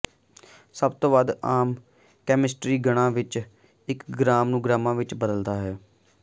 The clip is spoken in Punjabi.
ਸਭ ਤੋਂ ਵੱਧ ਆਮ ਕੈਮਿਸਟਰੀ ਗਣਨਾ ਦਾ ਇੱਕ ਗ੍ਰਾੱਮ ਨੂੰ ਗ੍ਰਾਮਾਂ ਵਿੱਚ ਬਦਲਦਾ ਹੈ